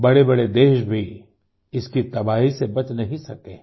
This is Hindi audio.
बड़ेबड़े देश भी इसकी तबाही से बच नहीं सके हैं